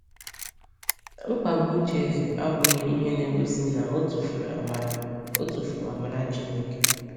Mkpagbu uche Eze abụghị ihe na-egosi na o tufuru amara o tufuru amara Chineke.